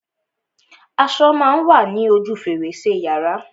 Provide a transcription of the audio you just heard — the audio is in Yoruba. Aṣo má a wa ní ojú fèrèsé yàrá.